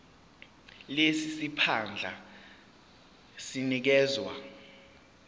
lesi siphandla sinikezwa